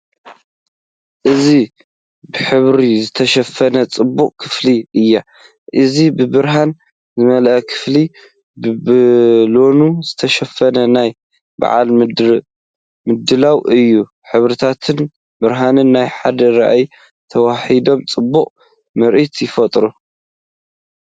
እዚ ብሕብሪ ዝተሸፈነት ጽብቕቲ ክፍሊ እያ። እዚ ብብርሃን ዝመልአ ክፍሊ፡ ብባሎን ዝተሸፈነ ናይ በዓል ምድላው እዩ። ሕብርታትን ብርሃንን ናብ ሓደ ራእይ ተዋሃሂዶም ፅበቅ ምርኢት ይፈጥሩ።